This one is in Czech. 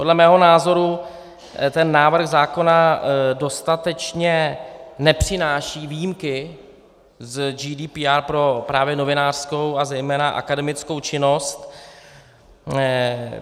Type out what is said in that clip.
Podle mého názoru ten návrh zákona dostatečně nepřináší výjimky z GDPR právě pro novinářskou a zejména akademickou činnost.